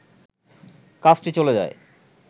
কাজটি চলে যায়